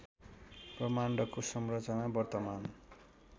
ब्रह्माण्डको संरचना वर्तमान